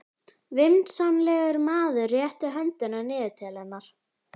Vinsamlegur maður réttir höndina niður til hennar.